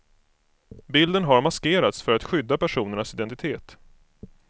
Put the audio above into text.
Bilden har maskerats för att skydda personernas identitet.